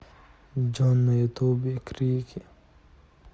джой на ютубе крики